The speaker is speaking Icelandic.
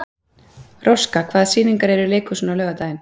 Róska, hvaða sýningar eru í leikhúsinu á laugardaginn?